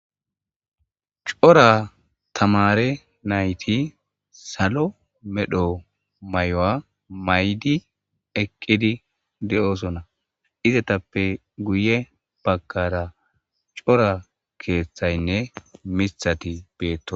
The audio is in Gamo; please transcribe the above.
cora tamare nayti salo medho mayuwa maydi eqqidi de'osona izetappe guye bagkara cora keeththaynne mistati beetto